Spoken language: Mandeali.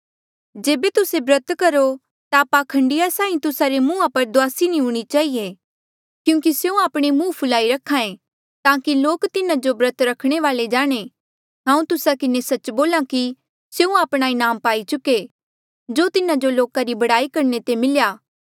जेबे तुस्से ब्रत करो ता पाखंडिया साहीं तुस्सा रे मुंहा पर दुआसी नी हूणीं चहिए क्यूंकि स्यों आपणा मुंह फुलाई रख्हा ऐें ताकि लोक तिन्हा जो ब्रत रखणे वाल्ऐ जाणें हांऊँ तुस्सा किन्हें सच्च बोल्हा कि स्यों आपणा इनाम पाई चुके जो तिन्हा जो लोका री बड़ाई करणे ते मिल्या